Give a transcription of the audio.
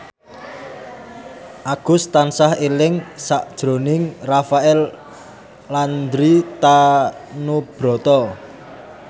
Agus tansah eling sakjroning Rafael Landry Tanubrata